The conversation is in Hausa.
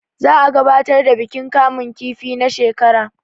za a gabatar da bikin kamun kifi na shekar